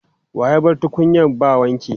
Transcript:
Wa ya bar tukunyan ba wanki?